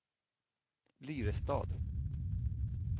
Lyrestad